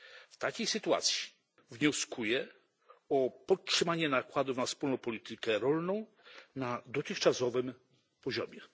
W takiej sytuacji wnioskuję o podtrzymanie nakładów na Wspólną Politykę Rolną na dotychczasowym poziomie.